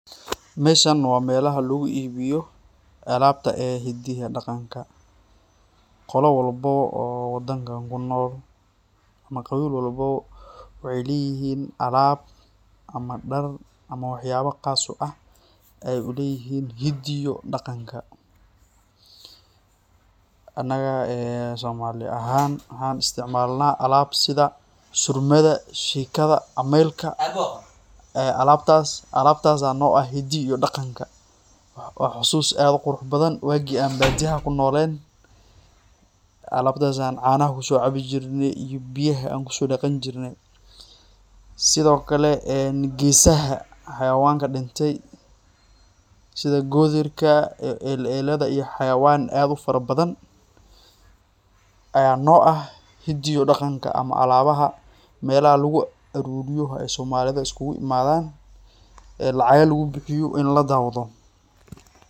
Meshan wa mel laguibiyo, alabta ee hidiihi iyo daqanka, qoola walbo oo wadankan kunol , ama qawiil walbo, waxay leyixin alab ama dar ama waxyaba qaas u ah, aya uleyixin hidii iyo daqanka, anaga somali axaan , waxan isticmalna alab sidha surmadha, shikadha ama amelka ee alabtas aya no ah hiida iyo daqanka, wa xasuus adh u qurux badan waqii an badiyaha kunolen alabtas aya canaxa kusocabijirne, iyo biyaha ayan kusodaqanijirne, sidhokale ee gesaxaa xawayanka dinte sidha godhirka, elleladha, iyo xawayan adh ufarabadan, ayan no ah hidiyo iyo daqanka ama alabaxa melaxa laguaruriyo ay somalidha iskulaimadhan, ee lacaga lagubixiyo in ladawdo.